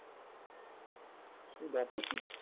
এই দম্পতি